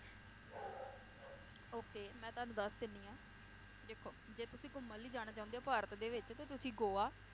Okay ਮੈ ਤੁਹਾਨੂੰ ਦੱਸ ਦਿੰਨੀ ਆ ਦੇਖੋ, ਜੇ ਤੁਸੀਂ ਘੁੰਮਣ ਲਈ ਜਾਣਾ ਚਾਹੁੰਦੇ ਹੋ ਭਾਰਤ ਦੇ ਵਿਚ ਤੇ ਤੁਸੀਂ ਗੋਆ,